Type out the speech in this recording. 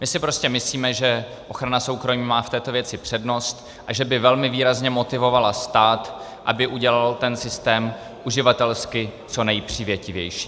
My si prostě myslíme, že ochrana soukromí má v této věci přednost a že by velmi výrazně motivovala stát, aby udělal ten systém uživatelsky co nejpřívětivější.